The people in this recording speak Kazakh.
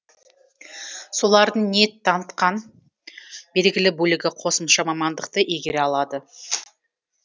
солардың ниет танытқан белгілі бөлігі қосымша мамандықты игере алады